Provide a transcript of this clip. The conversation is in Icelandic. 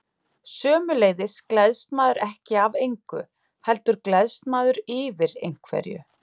Sömuleiðis gleðst maður ekki af engu, heldur gleðst maður yfir einhverju.